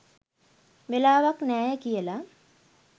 වෙලාවක් නෑය කියල.